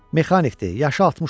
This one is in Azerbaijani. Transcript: Mexanikdir, yaşı atmış olar.